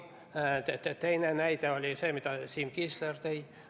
Teine näide on see, mille Siim Kiisler tõi.